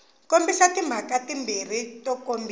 kombisa timhaka timbirhi to kombisa